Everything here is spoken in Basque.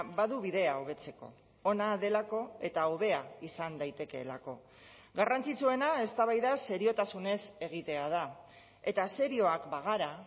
badu bidea hobetzeko ona delako eta hobea izan daitekeelako garrantzitsuena eztabaida seriotasunez egitea da eta serioak bagara